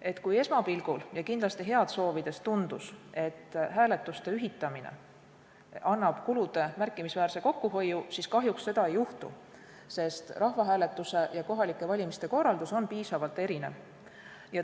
et kui esmapilgul ja kindlasti head soovides tundus, et hääletuste ühitamine annab kulude märkimisväärse kokkuhoiu, siis kahjuks seda ei juhtu, sest rahvahääletuse ja kohalike valimiste korraldus on piisavalt erinev.